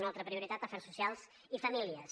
una altra prioritat afers socials i famílies